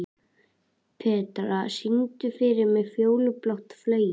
Petrea, syngdu fyrir mig „Fjólublátt flauel“.